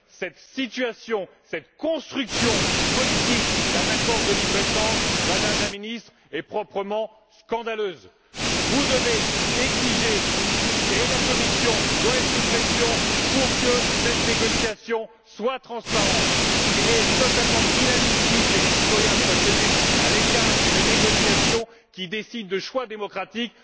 Cette situation, cette construction politique d'un accord de libre échange, Madame la Ministre, est proprement scandaleuse. Vous devez exiger de la Commission, quitte à la mettre sous pression, que cette négociation soit transparente. Il est totalement inadmissible que les citoyens soient tenus à l'écart d'une négociation qui décide de choix démocratiques.